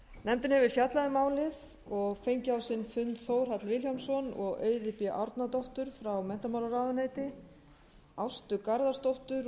nefndin hefur fjallað um málið og fengið á sinn fund þórhall vilhjálmsson og auði b árnadóttur frá menntamálaráðuneyti ástu garðarsdóttur